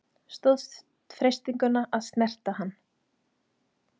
Stóðst freistinguna að snerta hann